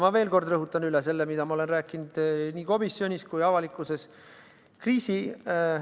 Ma veel kord rõhutan üle selle, mida olen rääkinud nii komisjonis kui ka avalikkuse ees.